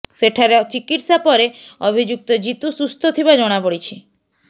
ସେଠାରେ ଚିକିତ୍ସା ପରେ ଅଭିଯୁକ୍ତ ଜିତୁ ସୁସ୍ଥ ଥିବା ଜଣାପଡ଼ିଛି